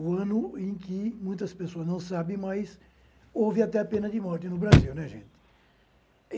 O ano em que muitas pessoas não sabem, mas houve até a pena de morte no Brasil, né gente.